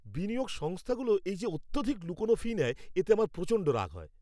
বিনিয়োগ সংস্থাগুলো এই যে অত্যধিক লুকনো ফি নেয়, এতে আমার প্রচণ্ড রাগ হয়।